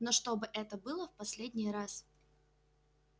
но чтобы это было в последний раз